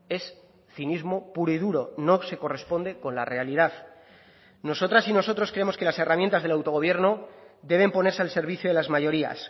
es cinismo puro y duro no se corresponde con la realidad nosotras y nosotros creemos que las herramientas del autogobierno deben ponerse al servicio de las mayorías